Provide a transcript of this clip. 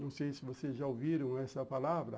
Não sei se vocês já ouviram essa palavra.